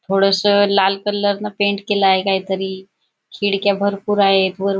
थोडेस लाल कलर ने पेंट केल आहे काही तरी खिडक्या भरपूर आहेत वर--